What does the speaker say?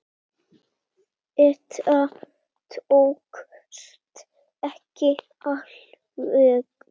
Þetta tókst ekki alveg.